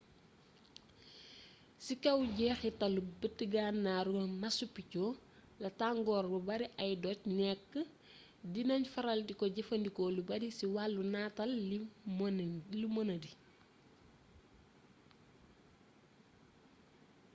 ci kaaw njeexitalu bët gannaru machu picchu la tangor bu bari ay doj nek di nagn faral diko jëfëndiko lu bari ci walu nataal lu mënadi